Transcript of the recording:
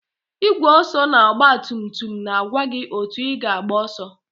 Igwe ọsọ na ọgba tum tum na-agwa gị otu ị na-agba ọsọ.